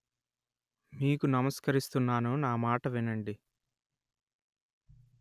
నీకు నమస్కరిస్తున్నాను నా మాట వినండి